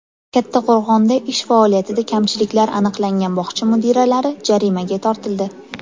Kattaqo‘rg‘onda ish faoliyatida kamchiliklar aniqlangan bog‘cha mudiralari jarimaga tortildi.